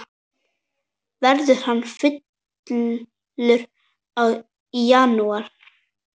Verður hann falur í janúar?